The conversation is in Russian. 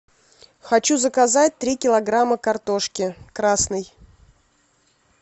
хочу заказать три килограмма картошки красной